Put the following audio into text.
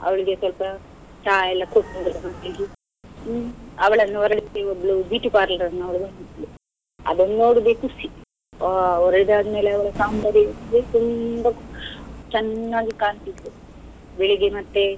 ಅವ್ಳಿಗೆ ಸ್ವಲ್ಪ ಚ ಎಲ್ಲ ಕೊಟ್ಟು , ಹ್ಮ್ ಅವಳನ್ನು ಹೊರಡಿಸ್ಲಿಕ್ಕೆ ಒಬ್ಬಳು beauty parlour ನವ್ಳು ಬಂದಿದ್ಲು, ಅದನ್ನು ನೋಡುದೆ ಖುಷಿ, ಹೋ ಅವರ ಇದ್ ಆದ್ಮೇಲೆ ತುಂಬಾ ಚೆನ್ನಾಗಿ ಕಾಣ್ತ ಇದ್ಲು ಬೆಳ್ಳಿಗ್ಗೆ ಮತ್ತೆ.